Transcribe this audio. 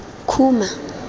khuma